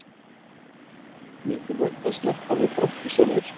Mikilvægt að sleppa við brottvísanir